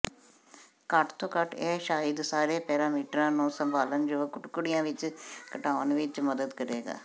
ਘੱਟੋ ਘੱਟ ਇਹ ਸ਼ਾਇਦ ਸਾਰੇ ਪੈਰਾਮੀਟਰਾਂ ਨੂੰ ਸੰਭਾਲਣਯੋਗ ਟੁਕੜਿਆਂ ਵਿਚ ਘਟਾਉਣ ਵਿਚ ਮਦਦ ਕਰੇਗਾ